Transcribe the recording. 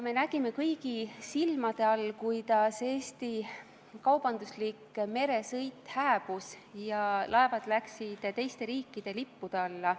Me nägime, kuidas kõigi silme all Eesti kaubanduslik meresõit hääbus ja laevad läksid teiste riikide lippude alla.